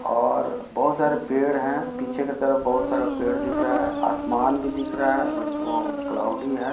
और बहुत सारे पेड़ है पीछे की तरफ बहुत सारा पेड़ दिख रहा है आसमान भी दिख रहा है बट वो क्लॉउडी हे।